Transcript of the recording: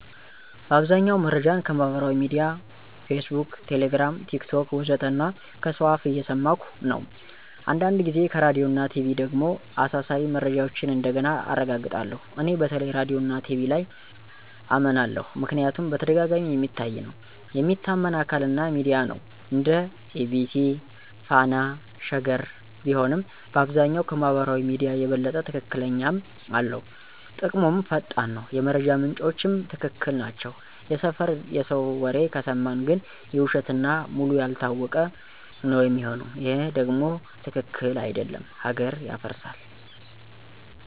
በአብዛኛው መረጃን ከማህበራዊ ሚድያ (Facebook, Telegram, TikTok ወዘተ) እና ከሰው አፍ እየሰማኩ ነው። አንዳንድ ጊዜ ከራዲዮና ቲቪ ደግሞ አሳሳቢ መረጃዎችን እንደገና አረጋግጣለሁ። እኔ በተለይ ራዲዮና ቲቪ ላይ አመናለሁ ምክንያቱም በተደጋጋሚ የሚታይ ነው፣ የሚታመን አካል እና ሚዲያ ነው (እንደ EBC፣ Fana፣ Sheger ቢሆንም)፣ በአብዛኛው ከማህበራዊ ሚዲያ የበለጠ ትክክለኛነትም አለው። ጥቅሙም ፈጣን ነው፣ የመረጃ ምንጮቹም ትክክል ናቸው። የሰፈር የሰው ወሬ ከሰማን ግን የውሸት እና ውሉ ያልታወቀ ነው ሚሆነው ይሄ ደም ትክክል አደለም ሀገር ያፈርሳል።